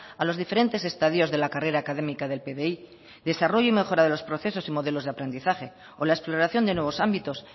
a los diferentes estados de la carrera académica del pdi desarrollo y mejora de los procesos y modelos de aprendizaje o la exploración de nuevos ámbitos